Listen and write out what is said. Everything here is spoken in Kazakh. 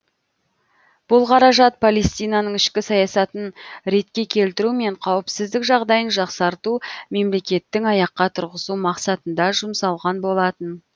бұл қаражат палестинаның ішкі саясатын ретке келтіру мен қауіпсіздік жағдайын жақсарту мемлекеттің аяққа тұрғызу мақсатында жұмсалған болатын